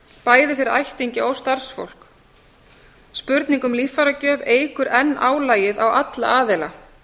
bæði fyrir ættingja og starfsfólk spurning um líffæragjöf eykur enn álagið á alla aðila